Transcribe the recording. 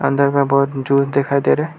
अंदर में बहोत जूस दिखाई दे रहे हैं।